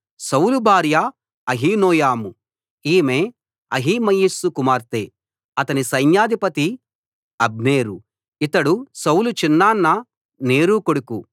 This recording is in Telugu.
సౌలు భార్య అహీనోయము ఈమె అహిమయస్సు కుమార్తె అతని సైన్యాధిపతి అబ్నేరు ఇతడు సౌలు చిన్నాన్న నేరు కొడుకు